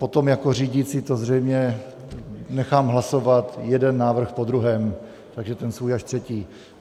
Potom jako řídící to zřejmě nechám hlasovat jeden návrh po druhém, takže ten svůj až třetí.